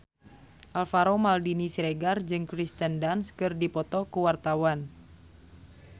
Alvaro Maldini Siregar jeung Kirsten Dunst keur dipoto ku wartawan